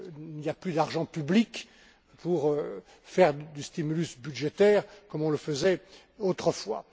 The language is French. Il n'y a plus d'argent public pour faire du stimulus budgétaire comme on le faisait autrefois.